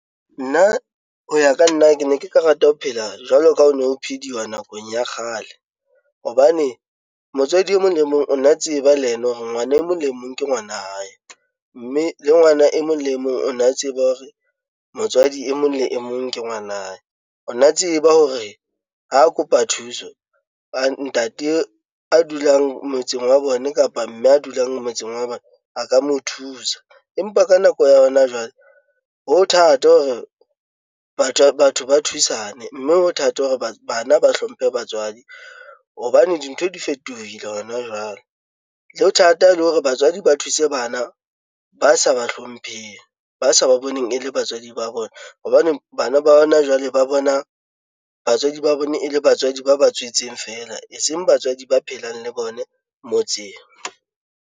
Nna ho ya ka nna ke ne ke ka rata ho phela jwalo ka ho ne ho phehiwa nakong ya kgale. Hobane motswadi e mong le mong o na tseba le ena hore ngwana e mong le mong ke ngwana hae, mme le ngwana e mong le e mong o na tseba hore motswadi e mong le e mong ke ngwanana hae. O na tseba hore ha kopa thuso a ntate a dulang motseng wa bona kapa mme a dulang motseng wa bona, a ka mo thusa. Empa ka nako ya hona jwale ho thata hore batho batho ba thusane mme ho thata hore bana ba hlomphe batswadi. Hobane dintho di fetohile hona jwale le ho thata le hore batswadi ba thuse bana ba sa ba hlompheng. Ba sa ba boneng e le batswadi ba bona, hobane bana ba hona jwale ba bona batswadi ba bone e le batswadi ba ba tswetseng feela eseng batswadi ba phelang le bone motseng.